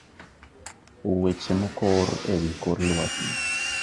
Weche mokor e wi kor lwasi